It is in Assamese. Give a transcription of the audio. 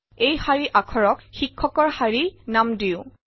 এই শাৰী আখৰক শিক্ষকৰ শাৰী নাম দিওঁ